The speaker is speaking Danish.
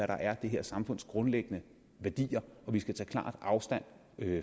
der er det her samfunds grundlæggende værdier vi skal tage klart afstand